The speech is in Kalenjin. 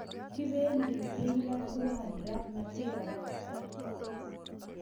Kipendi tinga twan raa matinbakaktan